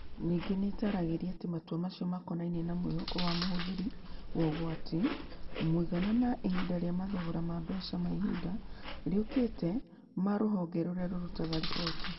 Ningĩ nĩ ĩtaaragĩria atĩ matua macio makonainie na mwĩhoko wa mũhũthĩri wa ũgwati, mũigana, na ihinda rĩa mathogora ma mbeca ma ihinda rĩũkĩte ma rũhonge rũrĩa rũrutaga riboti.